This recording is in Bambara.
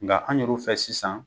Nka an yɛru fɛ sisan